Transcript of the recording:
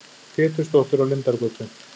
Pétursdóttur á Lindargötu.